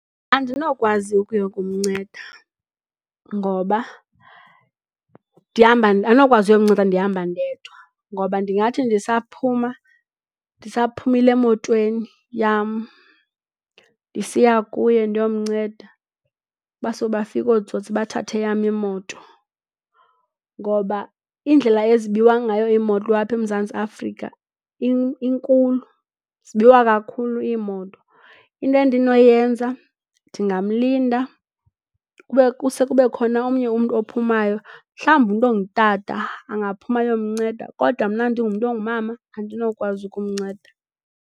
Andinokwazi ukuya kumnceda ngoba, ndihamba andinokwazi ukuyomnceda ndihamba ndedwa ngoba ndingathi ndisaphuma ndisaphumile emotweni yam ndisiya kuye ndiyomnceda baso bafike ootsotsi bathathe eyam imoto. Ngoba indlela ezibiwa ngayo iimoto apha eMzantsi Afrika inkulu, zibiwa kakhulu iimoto. Into endinoyenza ndingamlinda kuse kube khona omnye umntu ophumayo, mhlawumbi umntu ongutata angaphuma ayomnceda, kodwa mna ndingumntu ongumama andinokwazi ukumnceda.